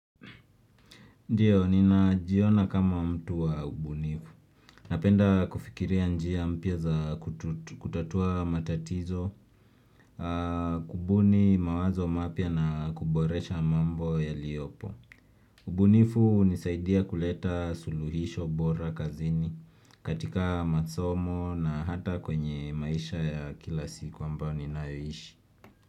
Ndio, ninajiona kama mtu wa ubunifu. Napenda kufikiria njia mpya za kutatua matatizo, kubuni mawazo mapya na kuboresha mambo yaliopo. Ubunifu hunisaidia kuleta suluhisho bora kazini katika masomo na hata kwenye maisha ya kila siku ambayo ninayoishi.